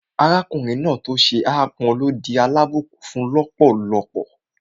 Arákùnrin náà tó ṣe ápọn ló di alábùnkún-fún lọ́pọ̀lọ́pọ̀